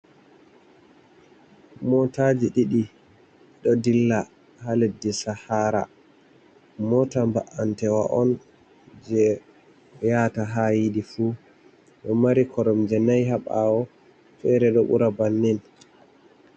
Motaji ɗiɗi ɗo dilla ha leddi sahara, mota ba’antewa on je yata ha yiɗi fu ɗo mari korom je nai ha ɓawo fere ɗo ɓura bannin.